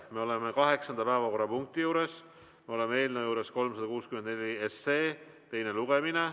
Me oleme kaheksanda päevakorrapunkti juures, me oleme eelnõu 364 teise lugemise juures.